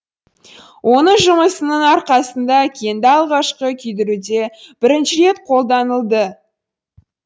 оның жұмысының арқасында кенді алғашқы күйдіруде бірінші рет қолданылды